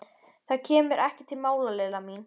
Það kemur ekki til mála, Lilla mín.